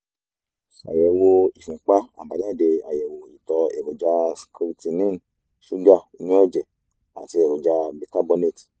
ṣayẹwo ìfúnpá àbájáde àyẹ̀wò ìtọ̀ èròjà creatinine ṣúgà inú ẹ̀jẹ̀ àti èròjà bicarbonate